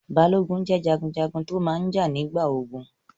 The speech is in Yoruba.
Balógun jẹ́ jagunjagun tó máa n jà nígbà ogun